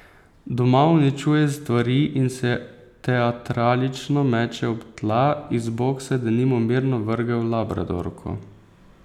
Doma uničuje stvari in se teatralično meče ob tla, iz boksa je denimo mirno vrgel labradorko.